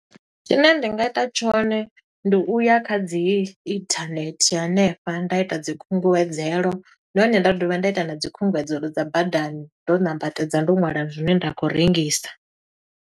Tshine nda nga ita tshone, ndi uya kha dzi inthanethe hanefha, nda ita dzi khunguwedzelo. Nahone nda dovha nda ita na dzikhunguwedzelo dza badani, ndo ṋambatedza, ndo ṅwala zwine nda khou rengisa.